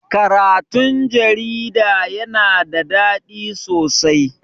Karatun jarida yana da daɗi sosai.